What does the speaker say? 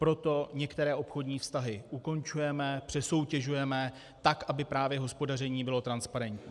Proto některé obchodní vztahy ukončujeme, přesoutěžujeme tak, aby právě hospodaření bylo transparentní.